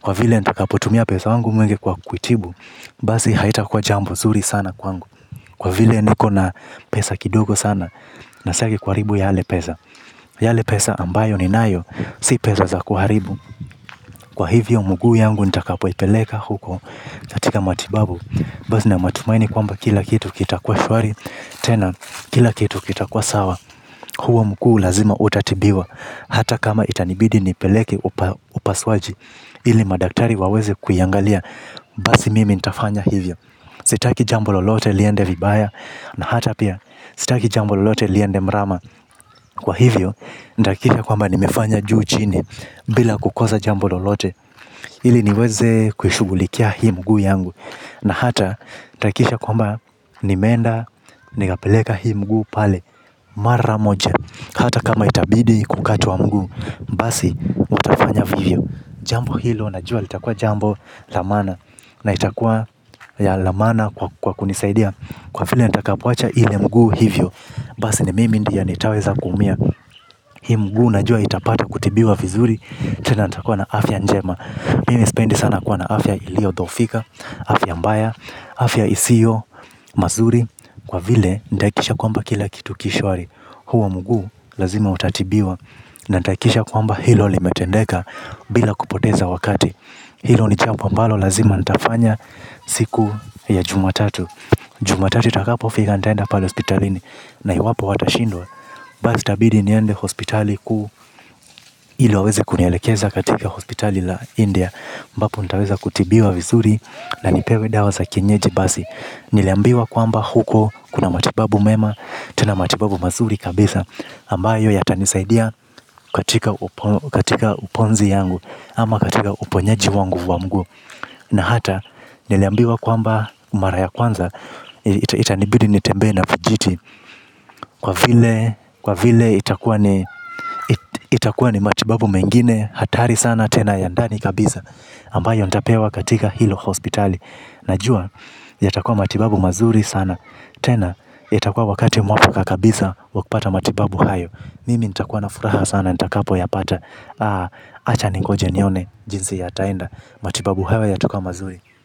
kwa vile nitakapotumia pesa wangu mwingi kwa kuitibu basi haitakuwa jambo zuri sana kwangu. Kwa vile niko na pesa kidogo sana. Na sitaki kuharibu yale pesa. Yale pesa ambayo ninayo. Si pesa za kuharibu. Kwa hivyo mguu yangu nitakapoipeleka huko katika matibabu basi nina matumaini kwamba kila kitu kitakuwa shwari. Tena kila kitu kitakuwa sawa. Huo mguu lazima utatibiwa. Hata kama itanibidi nipeleke upasuaji. Ili madaktari waweze kuiangalia. Basi mimi nitafanya hivyo. Sitaki jambo lolote liende vibaya. Na hata pia sitaki jambo lolote liende mrama. Kwa hivyo nitahakikisha kwamba nimefanya juu chini. Bila kukosa jambo lolote ili niweze kuishughulikia hii mguu yangu. Na hata nitahakikisha kwamba nimeenda nikapeleka hii mguu pale. Mara moja. Hata kama itabidi kukatwa mguu. Basi mtafanya vivyo. Jambo hilo najua litakuwa jambo la maana. Na itakua la maana kwa kunisaidia. Kwa vile nitakapoacha ile mguu hivyo. Basi ni mimi ndio nitaweza kuumia. Hii mguu najua itapata kutibiwa vizuri. Tena nitakuwa na afya njema. Mimi sipendi sana kuwa na afya iliyodhoofika. Afya mbaya, afya isiyo mazuri kwa vile nitahakikisha kwamba kila kitu ki shwari. Huo mguu lazima utatibiwa. Na nitahakikisha kwamba hilo limetendeka bila kupoteza wakati. Hilo ni jambo ambalo lazima nitafanya siku ya jumatatu. Jumatatu itakapofika nitaenda pale hospitalini. Na iwapo watashindwa basi itabidi niende hospitali kuu. Ili waweze kunielekeza katika hospitali la India ambapo nitaweza kutibiwa vizuri. Na nipewe dawa za kienyeji basi. Niliambiwa kwamba huko kuna matibabu mema. Tuna matibabu mazuri kabisa ambayo yatanisaidia katika uponzi yangu ama katika uponyaji wangu wa mguu na hata niliambiwa kwamba mara ya kwanza. Itanibidi nitembee na vijiti. Kwa vile itakuwa ni matibabu mengine hatari sana tena ya ndani kabisa ambayo nitapewa katika hilo hospitali. Najua yatakuwa matibabu mazuri sana. Tena itakuwa wakati mwafaka kabisa wa kupata matibabu hayo. Mimi nitakuwa na furaha sana nitakapoyapata. Acha ningoje nione jinsi yataenda. Matibabu hayo yatakuwa mazuri.